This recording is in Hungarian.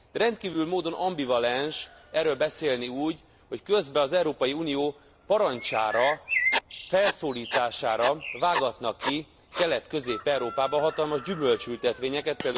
Rendkívüli módon ambivalens erről beszélni úgy, hogy közben az Európai Unió parancsára, felszólítására vágatnak ki Kelet közép Európában hatalmas gyümölcsültetvényeket.